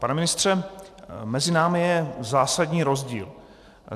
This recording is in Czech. Pane ministře, mezi námi je zásadní rozdíl.